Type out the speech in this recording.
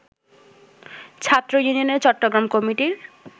ছাত্র ইউনিয়নের চট্টগ্রাম কমিটির